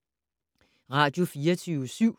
Radio24syv